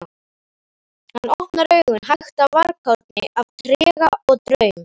Hann opnar augun, hægt, af varkárni, af trega og draum